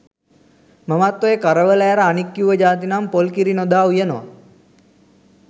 මමත් ඔය කරවල ඇර අනික් කිව්ව ජාති නම් පොල් කිරි නොදා උයනවා.